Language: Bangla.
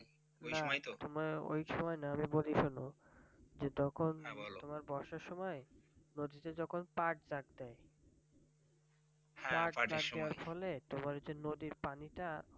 না ওই সময় না আমি বলি শোনো যে তখন তোমার বর্ষার সময় নদীতে যখন পাট গাছ দেয় পাট দেয়ার ফলে তোমার হচ্ছে নদীর পানি টা,